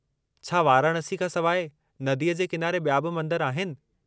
छा वाराणसी खां सवाइ नदीअ जे किनारे ॿिया बि मंदर आहिनि?